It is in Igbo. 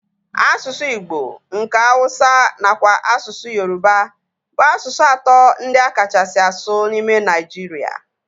Asụsụ igbo, nke Hausa nakwa asụsụ Yoruba bụ asụsụ atọ ndị a kachasị asụ n'ime Nigeria